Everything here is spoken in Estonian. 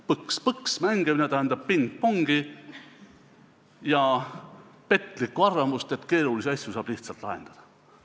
Põks-põksi mängimine tähendab pingpongi ja petlikku arvamust, et keerulisi asju saab lihtsalt lahendada.